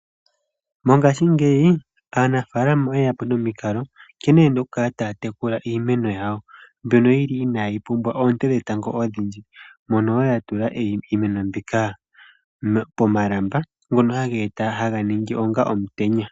Mongashingeyi aanafaalama oyeya po nomikalo nkene ye na okukala taya tekula iimeno yawo mbyono yi li inaayi pumbwa oonte dhetango odhindji. Oya tula iimeno yawo pomalamba gono haga ningi onga omutenya.